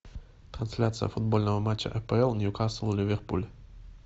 трансляция футбольного матча апл ньюкасл ливерпуль